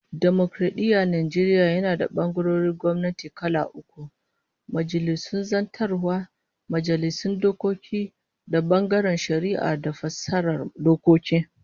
Dimokaradiyyar Najeriya yana da bangarorin gwamnati kala uku, Majalisun Zartaswa, Majalisun Dokoki da bangaren Shari'a da fassara dokoki